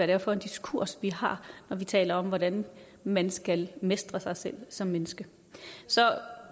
er for en diskurs vi har når vi taler om hvordan man skal mestre sig selv som menneske